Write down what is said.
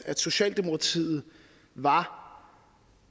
at socialdemokratiet var